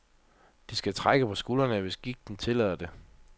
De skal trække på skuldrene, hvis gigten tillader det.